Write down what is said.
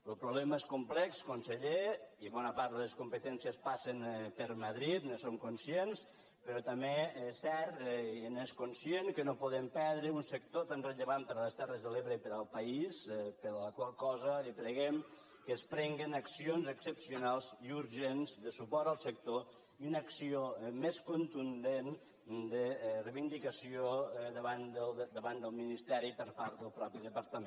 lo problema és complex conseller i bona part de les competències passen per madrid en som conscients però també és cert i n’és conscient que no podem perdre un sector tan rellevant per a les terres de l’ebre i per al país per la qual cosa li preguem que es prenguin accions excepcionals i urgents de suport al sector i una acció més contundent de reivindicació davant del ministeri per part del mateix departament